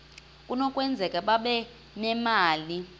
kunokwenzeka babe nemali